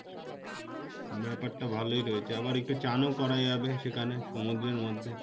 উম বাহ ব্যাপারটা ভালোই রয়েছে আবার একটু চানও করা যাবে সেখানে সমুদ্রের মধ্যে